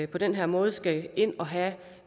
på den her måde skal ind og have